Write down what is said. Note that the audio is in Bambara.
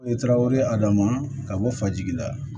I ye karaw ye adama ka bɔ fajigi la